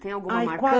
Tem alguma marcante?